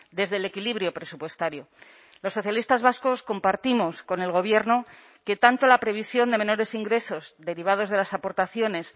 desde el equilibrio presupuestario los socialistas vascos compartimos con el gobierno que tanto la previsión de menores ingresos derivados de las aportaciones